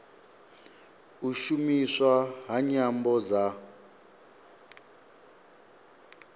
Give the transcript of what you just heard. u shumiswa ha nyambo dza